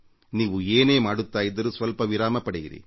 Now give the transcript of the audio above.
ನೀವು ಏನೇ ಮಾಡುತ್ತಾ ಇದ್ದರೂ ಸ್ವಲ್ಪ ವಿರಾಮ ಪಡೆಯಿರಿ